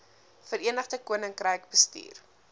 verenigde koninkryk bestuur